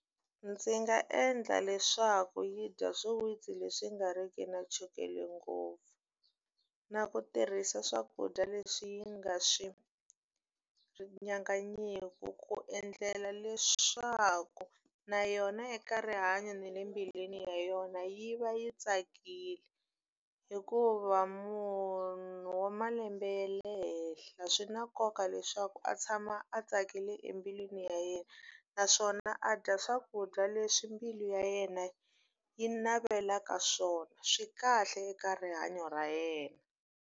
Ndzi nga endla leswaku yi dya swiwitsi leswi nga ri ki na chukele ngopfu, na ku tirhisa swakudya leswi yi nga swi nyanganyiki. Ku endlela leswaku na yona eka rihanyo na le mbilwini ya yona yi va yi tsakile. Hikuva munhu wa malembe ya le henhla swi na nkoka leswaku a a tshama a tsakile embilwini ya yena, naswona a dya swakudya leswi mbilu ya yena yi navelaka swona. Swi kahle eka rihanyo ra yena.